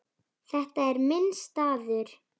Þetta er minn staður.